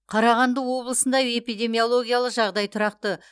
қарағанды облысында эпидемиологиялық жағдай тұрақты